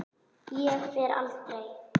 Ég fer aldrei.